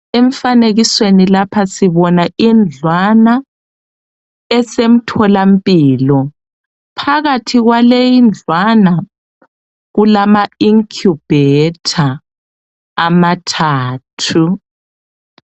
Emfanekisweni lapha sibona indlwana esemtholampilo phakathi kwale indlwana kumala incubator amathathu.